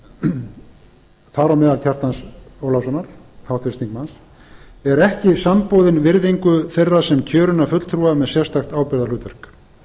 þar á meðal háttvirtra þingmanna kjartans ólafssonar eru ekki samboðin virðingu þeirra sem kjörinna fulltrúa með sérstakt ábyrgðarhlutverk